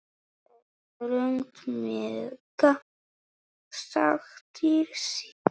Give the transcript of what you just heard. En þröngt mega sáttir sitja.